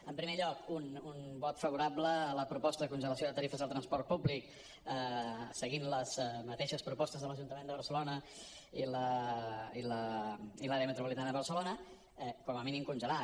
en primer lloc un vot favorable a la proposta de congelació de tarifes al transport públic seguint les mateixes propostes de l’ajuntament de barcelona i l’àrea metropolitana de barcelona com a mínim congelar